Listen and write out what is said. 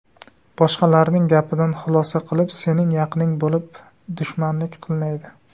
Boshqalarning gapidan xulosa qilib, sening yaqining bo‘lib, dushmanlik qilmaydi.